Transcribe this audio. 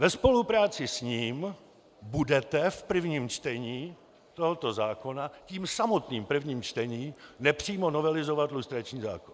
Ve spolupráci s ním budete v prvním čtení tohoto zákona tím samotným prvním čtením nepřímo novelizovat lustrační zákon.